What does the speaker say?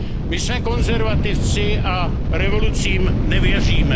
My jsme konzervativci a revolucím nevěříme.